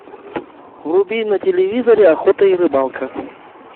вруби на телевизоре охота и рыбалка